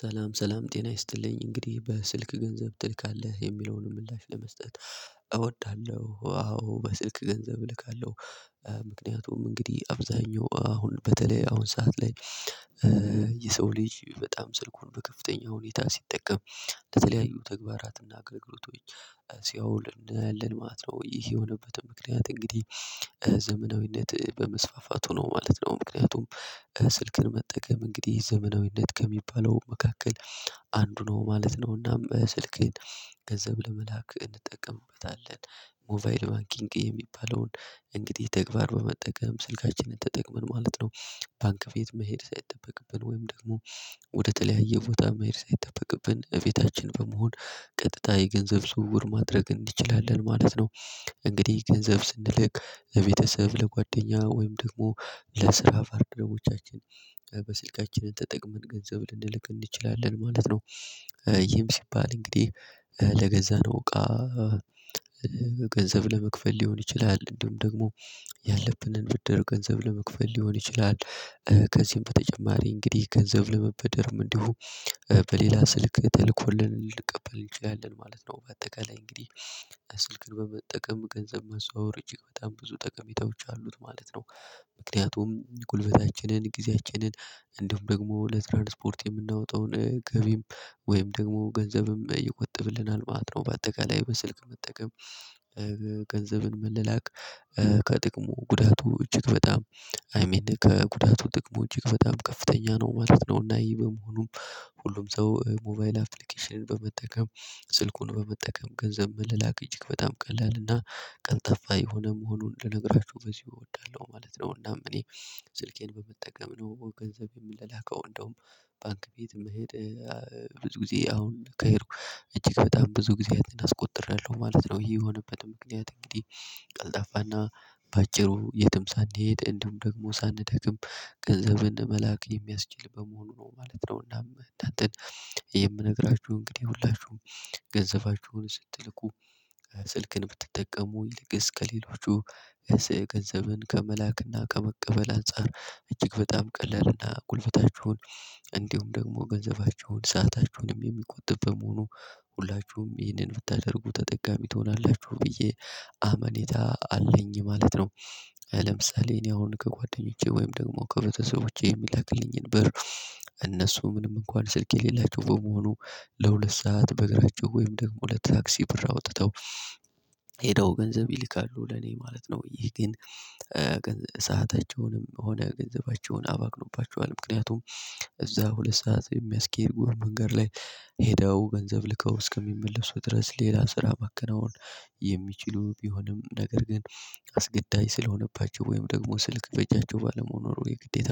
ሰላም ሰላም ጤና ይስጥልኝ እንግዲህ በስልክ ገንዘብ ትልካለህ የሚለውን ምላሽ ለመስጠት እወዳለሁ ዋው በስልክ ገንዘብ እልካለሁ። ምክንያቱም እንግዲህ አብዛኛው አሁን በተለይ አሁን ሰዓት ላይ የሰው ልጅ በጣም ስልኩን በከፍተኛ ሁኔታ ሲጠቀም ለተለያዩ ተግባራትና ክንውነቶች ሲያውል እንደ ልል ማለት ነው ይህ የሆነበትን ምክንያት እንግዲህ ዘመናዊነት በመስፋፋቱ ነው ማለት ነው። ምክንያቱም ስልክን መጠቀም እንግዲህ ዘመናዊነት ከሚባለው መካከል አንዱ ነው ማለት ነውና። ስልክህን ገንዘብ ለመላክ እንጠቀምበታለን ሞባይል ባንኪንግ የሚባለውን እንግዲህ ተግባር በመጠቀም ስልካችንን ተጠቅመን ማለት ነው። ባንክ ፊት መሄድ ሳይጠበቅብን ወይም ደግሞ ወደ ተለያየ ቦታ መሄድ ሳይጠበቅብን እቤታችን በመሆን ቀጥታ የገንዘብ ዝውውር ማድረግ እንዲችላለን ማለት ነው። እንግዲህ ገንዘብ ስንልክ ለቤተሰብ ለጓደኛ ወይም ደግሞ ለስራ ባልደረቦቻችን በስልካችን ተጠቅመን ገንዘብ ልንልክ እንችላለን ማለት ነው። ይህም ሲባል እንግዲህ ለገዛነው እቃ ገንዘብ ለመክፈል ሊሆን ይችላል እንደውም ደግሞ ያለብንን ብድር ገንዘብ ለመክፈል ሊሆን ይችላል። ከዚህም በተጨማሪ እንግዲህ ገንዘብ ለመበደርም እንዲሁ በሌላ ስልክ ተልኮልን እንቀበል እንችላለን ማለት ነው። በአጠቃላይ እንግዲህ በስልክ በመጠቀም ገንዘብ መዘዋወር እጅግ በጣም ብዙ ጠቀሜታዎች አሉት ማለት ነው። ምክንያቱም ጉልበታችንን ጊዜያችንን እንደውም ደግሞ ለትራንስፖርት የምናወጣውን ገቢም ወይም ደግሞ ገንዘብም እየቆጠብልናል ማለት ነው። በአጠቃላይ በስልክ መጠቀም ገንዘብን ምንልክ ከጥቅሙ ጉዳቶች እጅግ በጣም አይ ሚን ከጉዳቶች ጥቅሙ እጅግ በጣም ከፍተኛ ነው ማለት ነው። እና ይሄ በመሆኑም ሁሉም ሰው ሞባይል አፕሊኬሽን በመጠቀም ስልኩን በመጠቀም ገንዘብ መላላክ እጅግ በጣም ቀላል እና ቀን ጠፋ የሆነ መሆኑን ልነግራችሁ በዚህ እወዳለሁ ማለት ነው። እናም እኔ ስልኬን በመጠቀም ነው ገንዘብ የምላከው እንደውም ባንክ ቤት መሄድ ብዙ ጊዜ አሁን ከሄድኩ እጅግ በጣም ብዙ ጊዜ አስቆጥሬያለሁ ማለት ነው። ይሄ የሆነበት ምክንያት እንግዲህ ቀልጣፋና በአጭሩ የትም ሳንሄድ እንደውም ደግሞ ሳንደክም ገንዘብን መላክ የሚያስችል በመሆኑ ነው ማለት ነው። እና እንዳንተን የምነግራችሁ እንግዲህ ሁላችሁም ገንዘባችሁን ስትልኩ ስልክን ብትጠቀሙ ይልቅስ ከሌሎቹ ገንዘብን ከመላክና ከመቀበል አንፃር እጅግ በጣም ቀለልና ቁልፍታችሁን እንዲሁም ደግሞ ገንዘባችሁን ሰዓታቸውንም የሚቆጥብ በመሆኑ ሁላችሁም ይህንን ብታደርጉ ተጠቃሚ ትሆናላችሁ ብዬ አመኔታ አለኝ ማለት ነው። ለምሳሌ እኔ አሁን ከጓደኞቼ ወይም ደግሞ ከቤተሰቦቼ የሚላክልኝን ብር እነሱ ምንም እንኳን ስልክ የሌላቸው በመሆኑ ለሁለት ሰዓት በእግራቸው ወይም ደግሞ ለታክሲ ብር አውጥተው ሄደው ገንዘብ ይልካሉ ለኔ ማለት ነው። ይህ ግን ሰአታቸውንም ሆነ ገንዘባቸውን አባክኖባቸዋል ምክንያቱም እዛ ሁለት ሰዓት የሚያስኬድ ጎር መንገድ ላይ ሄደው ገንዘብ ልከው እስከሚመለሱ ድረስ ሌላ ስራ ማከናወን የሚችሉ ቢሆንም ነገር ግን አስገዳጅ ስለሆነባቸው ወይም ደግሞ ስልክ በጃቸው ባለመሆኑ የግዴታ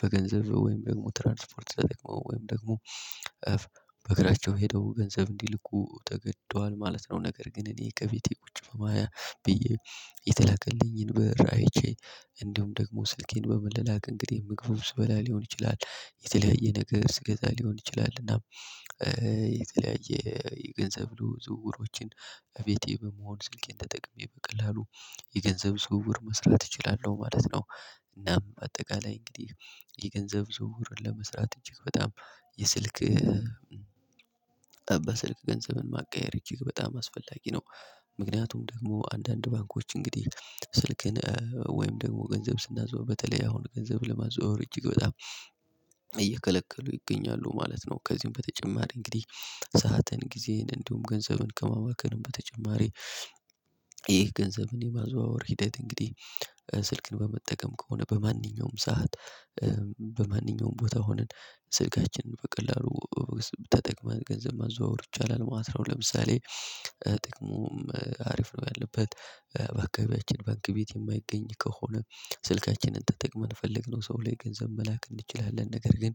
በገንዘብ ወይም ደግሞ ትራንስፖርት ተጠቅመው ወይም ደግሞ በእግራቸው ሄደው ገንዘብ እንዲልኩ ተገዷል ማለት ነው። ነገር ግን እኔ ከቤቴ ቁጭ በማያ ብዬ የተለከልኝን ብር እንደውም ደግሞ ስልኬን በመለላክ እንግዲህ ምግቡ ስበላ ሊሆን ይችላል የተለያየ ነገር ስገዛ ሊሆን ይችላል እና የተለያየ የገንዘብ ዝውውሮችን በፊቴ በመሆን ስልኬን ተጠቅሜ በቀላሉ የገንዘብ ስውር መስራት እችላለሁ ማለት ነው። እናም በአጠቃላይ እንግዲህ የገንዘብ ዝውውርን ለመስራት እጅግ በጣም የስልክ ጠባ ስልክ ገንዘብን ማቀያየር እጅግ በጣም አስፈላጊ ነው። ምክንያቱም ደግሞ አንዳንድ ባንኮች እንግዲህ ስልክን ወይም ደግሞ ገንዘብ ስናዘዋውር በተለይ አሁን ገንዘብ ለማዘዋወር እጅግ በጣም እየከለከሉ ይገኛሉ ማለት ነው። ከዚህም በተጨማሪ እንግዲህ ሰዓትን ጊዜን እንደውም ገንዘቡን ከማባከንም በተጨማሪ ይህ ገንዘብን የማዘዋወር ሂደት እንግዲህ ስልክን በመጠቀም ከሆነ በማንኛውም ሰዓት በማንኛውም ቦታ ሆነን ስልካችንን በቀላሉ ተጠቅመን ገንዘብ ማዘዋወር ይቻላል ማለት ነው። ለምሳሌ ጥቅሙም አሪፍ ነው ያለበት በአካባቢያችን ባንክ ቤት የማይገኝ ከሆነ ስልካችንን ተጠቅመን የፈልግነው ሰው ላይ ገንዘብ መላክ እንችላለን። ነገር ግን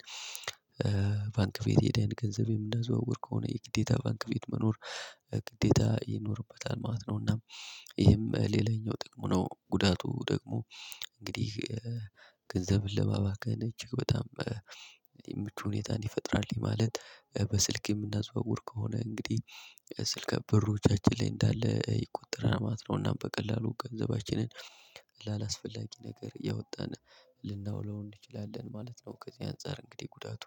ባንክ ቤት ሂደን ገንዘብ እንዲናዘዋወር ከሆነ የግዴታ ባንክ ቤት መኖር ግዴታ ይኖርበታል ማለት ነው። እናም ይሄም ሌላኛው ጥቅሙ ነው። ጉዳቱ ደግሞ እንግዲህ ገንዘብን ለማባከን እጅግ በጣም የምቹ ሁኔታ እንዲፈጥራልኝ ማለት በስልክ የምናዘዋውር ከሆነ እንግዲህ ስልክ በሪዎቻችን ላይ እንዳለ ይቆጥር ማለት ነው እና በቀላሉ ገንዘባችንን ላላስፈላጊ ነገር ያወጣን ልናውለው እንችላለን ማለት ነው። ከዚህ አንፃር እንግዲህ ጉዳቱ